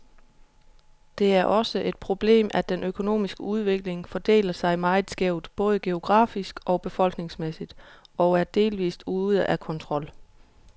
Det er også et problemet, at den økonomiske udvikling fordeler sig meget skævt, både geografisk og befolkningsmæssigt, og er delvist ude af kontrol.